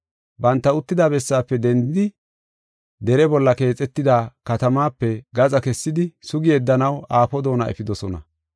Banta uttida bessaafe dendidi dere bolla keexetida katamaape gaxa kessidi sugi yeddanaw aafo doona efidosona.